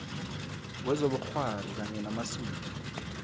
wezobukghwari kanye namasiko